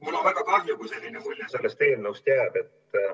Mul on väga kahju, kui selline mulje sellest eelnõust jääb.